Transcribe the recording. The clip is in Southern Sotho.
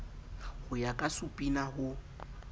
ho ya ka supina ho